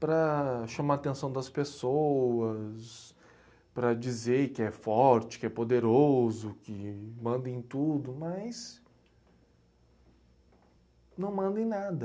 para chamar a atenção das pessoas, para dizer que é forte, que é poderoso, que manda em tudo, mas não manda em nada.